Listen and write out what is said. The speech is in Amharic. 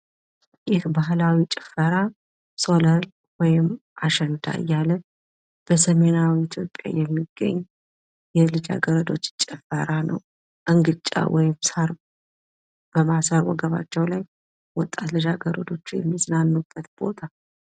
ይህ ባህላዊ ጭፈራ ሶለል ወይም አሸንዳ እያልን በሰሜናዊ የሚገኝ የልጃገረዶች ጭፈራ ነው። እንግጫ ወይም ሳር በማሰር ወጣት ልጃገረዶች የሚዝናኑበት ቦታ ነው።